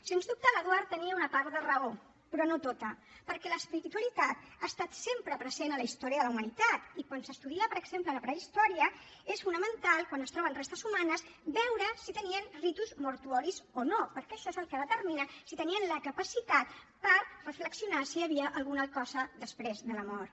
sens dubte l’eduard tenia una part de raó però no tota perquè l’espiritualitat ha estat sempre present a la història de la humanitat i quan s’estudia per exemple la prehistòria és fonamental quan es troben restes humanes veure si tenien ritus mortuoris o no perquè això és el que determina si tenien la capacitat per reflexionar si hi havia alguna cosa després de la mort